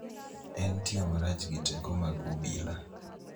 en tiyo marach gi teko mag obila